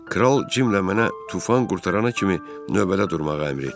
Kral Cimlə mənə tufan qurtarana kimi növbədə durmağı əmr etdi.